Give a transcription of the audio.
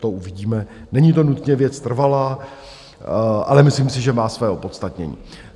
To uvidíme, není to nutně věc trvalá, ale myslím si, že má své opodstatnění.